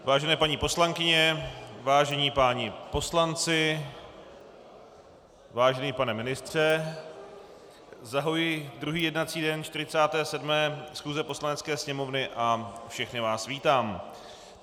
Vážené paní poslankyně, vážení páni poslanci, vážený pane ministře, zahajuji druhý jednací den 47. schůze Poslanecké sněmovny a všechny vás vítám.